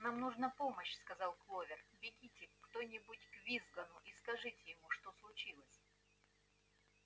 нам нужна помощь сказала кловер бегите кто-нибудь к визгуну и скажите ему что случилось